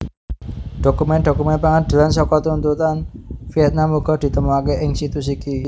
Dhokumen dhokumen pangadilan saka tuntutan Vietnam uga ditemokaké ing situs iki